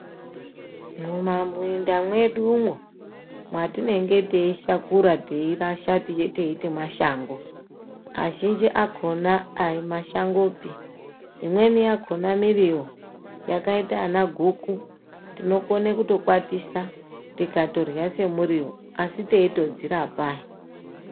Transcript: Mumaminda mwedumwo mwatinenge teishakura teirasha teiuye teiti mashango mazvhinji akona aimashangopi imweni yakona miriwo yakaita ana guku tinokone kutokwatisa tikatorya semuriwo asi teitodzirapa he.